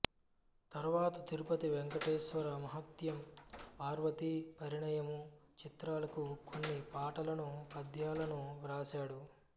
తరువాత తిరుపతి వేంకటేశ్వర మాహాత్మ్యం పార్వతీ పరిణయము చిత్రాలకు కొన్ని పాటలను పద్యాలను వ్రాశాడు